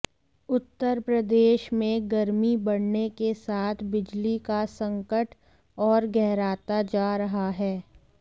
उत्तर प्रदेश में गर्मी बढ़ने के साथ बिजली का संकट और गहराता जा रहा है